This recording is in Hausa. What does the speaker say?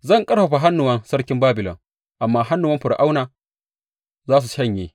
Zan ƙarfafa hannuwan sarkin Babilon, amma hannuwan Fir’auna za su shanye.